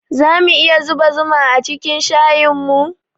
Zamu iya zuba zuma acikin shayinmu?